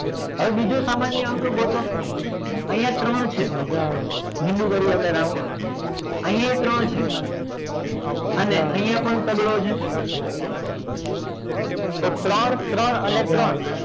હવે બીજો સામાન્ય અંક ગોઠવો અહીંયા ત્રણ છે બીજું કરે આપણે round અહીંયા ય ત્રણ છે અને અહીંયા પણ તગડો છે તો ત્રણ ત્રણ અને ત્રણ